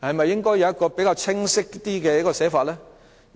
應否有比較清晰的寫法呢？